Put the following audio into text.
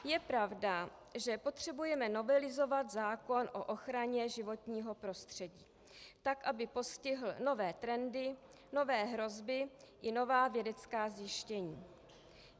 Je pravda, že potřebujeme novelizovat zákon o ochraně životního prostředí tak, aby postihl nové trendy, nové hrozby i nová vědecká zjištění.